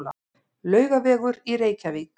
Laugavegur í Reykjavík.